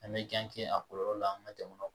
An bɛ a kɔlɔlɔ la an ka jamana kɔnɔ